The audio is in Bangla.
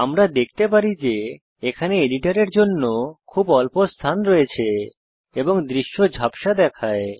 আমরা দেখতে পারি যে এখানে এডিটরের জন্য খুব অল্প স্থান রয়েছে এবং দৃশ্য ঝাপসা দেখায়